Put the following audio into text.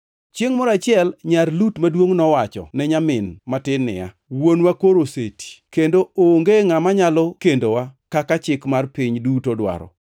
Chiengʼ moro achiel nyar Lut maduongʼ nowacho ne nyamin matin niya, “Wuonwa koro oseti, kendo onge ngʼama nyalo kendowa kaka chik mar piny duto dwaro.